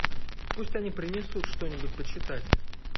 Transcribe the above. пусть они принесут что нибудь почитать